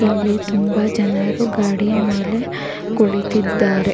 ಇಲ್ಲಿ ತುಂಬಾ ಜನರು ಗಾಡಿಯ ಮೇಲೆ ಕುಳಿತಿದ್ದಾರೆ.